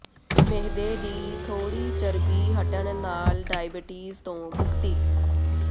ਮਿਹਦੇ ਦੀ ਥੋੜ੍ਹੀ ਚਰਬੀ ਹਟਣ ਨਾਲ ਡਾਇਬਟੀਜ਼ ਤੋਂ ਮੁਕਤੀ